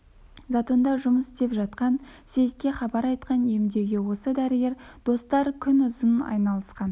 затонда жұмыс істеп жатқан сейітке хабар айтқан емдеуге осы дәрігер достар күнұзын айналысқан